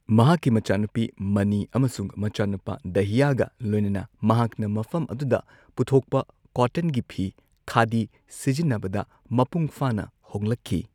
ꯃꯍꯥꯛꯀꯤ ꯃꯆꯥꯅꯨꯄꯤ ꯃꯅꯤ ꯑꯃꯁꯨꯡ ꯃꯆꯥꯅꯨꯄꯥ ꯗꯍꯌꯥꯒ ꯂꯣꯢꯅꯅ, ꯃꯍꯥꯛꯅ ꯃꯐꯝ ꯑꯗꯨꯗ ꯄꯨꯊꯣꯛꯄ ꯀꯣꯇꯟꯒꯤ ꯐꯤ, ꯈꯥꯗꯤ ꯁꯤꯖꯤꯟꯅꯕꯗ ꯃꯄꯨꯡ ꯐꯥꯅ ꯍꯣꯡꯂꯛꯈꯤ꯫